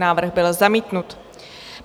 Návrh byl zamítnut.